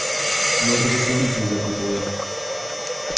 ну это же сравнить нельзя ответил я